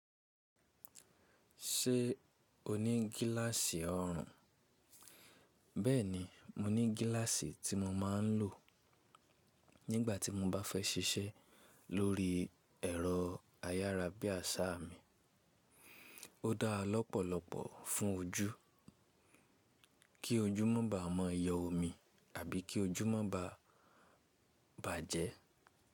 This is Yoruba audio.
Ṣé o ní gíláàsì ọrùn? Bẹ́ẹ̀ni mo ní gíláàsì tí mo máa ń lò nígbà tí mo bá fẹ́ ṣiṣẹ́ lórí ẹ̀rọ ayárabíàṣá mi. Ó dára lọ́pọ̀lọpọ̀ fún ojú, kí ojú mọ́ bàa mọ yọ̀ omi àbí kí ojú mọ́ bàa bàjẹ́.